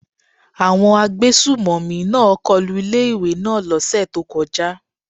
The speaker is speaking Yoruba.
Àwọn agbésùmọ̀mí náà kọlu ilé ìwé náà lọ́ sẹ̀ tó kọjá.